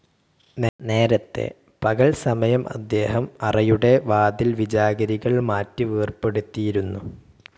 നേരത്തെ, പകൽസമയം അദ്ദേഹം അറയുടെ വാതിൽ വിജാഗിരികൾ മാറ്റി വേർപെടുത്തിയിരുന്നു.